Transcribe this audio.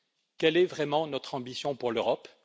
Quelle est vraiment notre ambition pour l'Europe